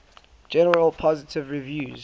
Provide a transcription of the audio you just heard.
generally positive reviews